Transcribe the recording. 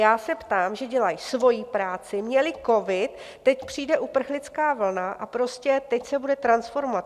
Já se ptám, že dělají svoji práci, měli covid, teď přijde uprchlická vlna, a prostě teď se bude transformovat.